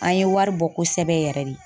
An ye wari bɔ kosɛbɛ yɛrɛ de.